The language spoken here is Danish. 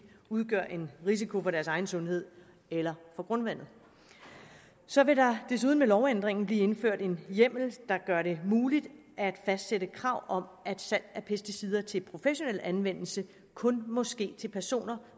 udgør en risiko for deres egen sundhed eller for grundvandet så vil der desuden med lovændringen blive indført en hjemmel der gør det muligt at fastsætte krav om at salg af pesticider til professionel anvendelse kun må ske til personer